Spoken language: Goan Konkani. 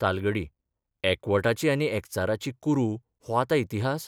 तालगडी एकवटाची आनी एकचाराची कुरू 'हो आतां इतिहास?